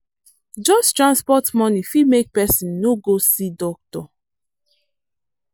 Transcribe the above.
just transport money fit make person no go see doctor.